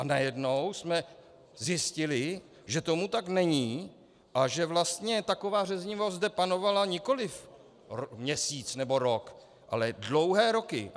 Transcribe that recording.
A najednou jsme zjistili, že tomu tak není a že vlastně taková řevnivost zde panovala nikoliv měsíc nebo rok, ale dlouhé roky.